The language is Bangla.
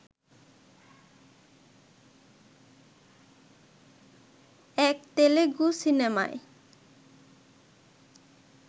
এক তেলেগু সিনেমায়